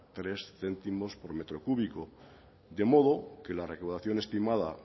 tres céntimos por metro cúbico de modo que la recaudación estimada